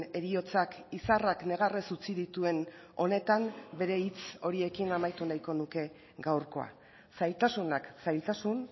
heriotzak izarrak negarrez utzi dituen honetan bere hitz horiekin amaitu nahiko nuke gaurkoa zailtasunak zailtasun